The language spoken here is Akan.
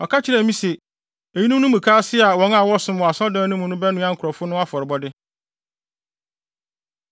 Ɔka kyerɛɛ me se, “Eyinom ne mukaase a wɔn a wɔsom wɔ asɔredan mu no bɛnoa nkurɔfo no afɔrebɔde.”